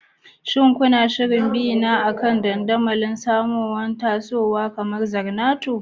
Shin kuna shirin bina akan dandamali masu tasowa kamar Zornoto?